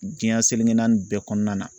Diɲɛ seleke naani bɛɛ kɔnɔna na.